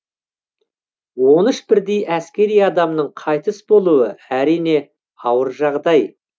он үш бірдей әскери адамның қайтыс болуы әрине ауыр жағдай